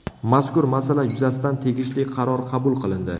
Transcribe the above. Mazkur masala yuzasidan tegishli qaror qabul qilindi.